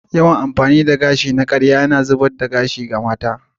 Yawan amfani da gashi na karya yana haifar da zubar gashi ga mata.